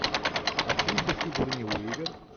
актриса сигурни уивер